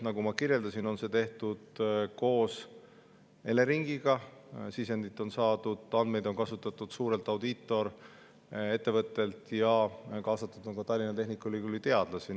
Nagu ma kirjeldasin, need on tehtud koos Eleringiga, sisendit ja andmeid, mida on kasutatud, on saadud suurelt audiitorettevõttelt ja kaasatud on ka Tallinna Tehnikaülikooli teadlasi.